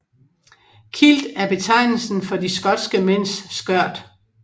Kilt er betegnelsen for de skotske mænds skørt